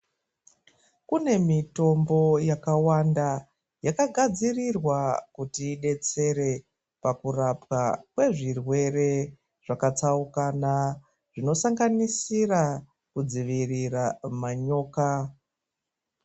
Kune mitombo yakawanda yakagadzirirwa kuti idetsere pakurapwa kwezvirwere zvakatsaukana zvinosanganisira kudzivirira manyoka.